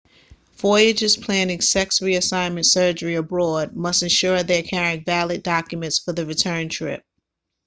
voyagers planning sex reassignment surgery abroad must ensure they're carrying valid documents for the return trip